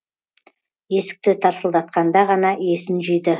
есікті тарсылдатқанда ғана есін жиды